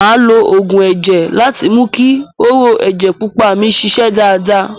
Màá lo oògùn ẹ̀jẹ̀ láti mú ki hóró ẹjẹ pupa mi ṣiṣẹ́ dáadáa.